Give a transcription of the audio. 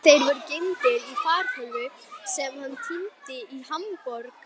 Þeir voru geymdir í fartölvu sem hann týndi í Hamborg.